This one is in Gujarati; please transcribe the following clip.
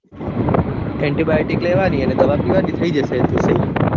antibiotic લેવાની અને દવા પીવાની થઇ જશે એતો